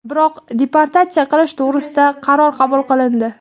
biroq deportatsiya qilish to‘g‘risida qaror qabul qilindi.